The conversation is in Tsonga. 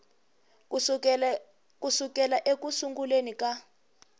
ku sukela eku sunguleni ka